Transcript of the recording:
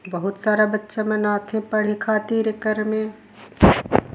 बहुत सारा बच्चा मन आत हे पढ़े खातिर एकर में--